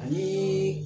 Ani